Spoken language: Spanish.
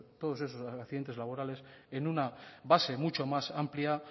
todos esos accidente laborales en una base mucho más amplia